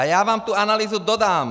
A já vám tu analýzu dodám!